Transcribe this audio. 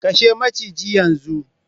Kashe maciji yanzu!